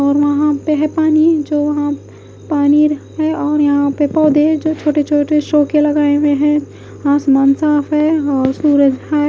और वहां पर है पानी जो वहां पानी रहे और यहां पर पौधे है जो छोटे छोटे शो के लगाए हुए हैं आसमान साफ है और सूरज है।